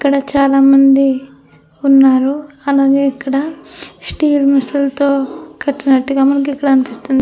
ఇక్కడ చాలా మంది ఉన్నారు. అలాగే ఇక్కడ స్టీలు మెస్ లతో కట్టినట్టుగా కనిపిస్తుంది.